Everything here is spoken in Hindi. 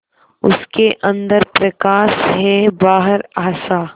उसके अंदर प्रकाश है बाहर आशा